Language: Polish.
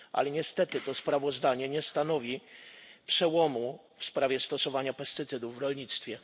Niestety to sprawozdanie nie stanowi przełomu w sprawie stosowania pestycydów w rolnictwie.